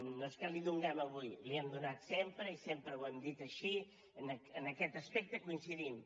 no és que la hi donem avui la hi hem donat sempre i sempre ho hem dit així en aquest aspecte coincidim